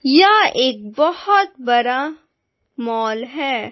यह एक बहोत बड़ा मॉल है।